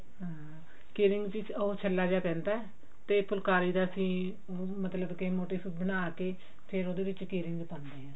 ਹਾਂ key ring ਚ ਉਹ ਛੱਲਾ ਜਾ ਪੈਂਦਾ ਤੇ ਤੇ ਫੁਲਕਾਰੀ ਦਾ ਅਸੀਂ ਮਤਲਬ ਕਿ motive ਬਣਾ ਕਿ ਫ਼ੇਰ ਉਹਦੇ ਵਿੱਚ key ring ਪਾਉਂਦੇ ਹਾਂ